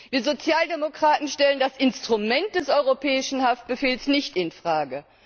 Wir Sozialdemokraten stellen das Instrument des Europäischen Haftbefehls nicht in Frage.